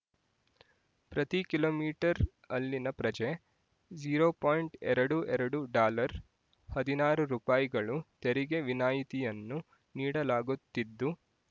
ಪ್ರತಿ kilometre ಅಲ್ಲಿನ ಪ್ರಜೆ ಝೀರೋ ಪಾಯಿಂಟ್ ಎರಡು ಎರಡು ಡಾಲರ್ ಹದಿನಾರು ರೂಪಾಯಿ ಗಳು ತೆರಿಗೆ ವಿನಾಯಿತಿಯನ್ನು ನೀಡಲಾಗುತ್ತಿದ್ದು